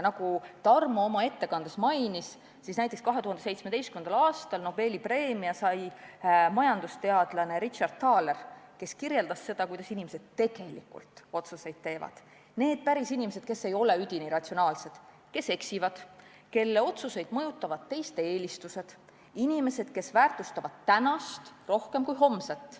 Nagu Tarmo oma ettekandes mainis, 2017. aastal sai Nobeli preemia majandusteadlane Richard Thaler, kes kirjeldas seda, kuidas inimesed tegelikult otsuseid teevad – need pärisinimesed, kes ei ole üdini ratsionaalsed, kes eksivad ja kelle otsuseid mõjutavad teiste eelistused, inimesed, kes väärtustavad tänast rohkem kui homset.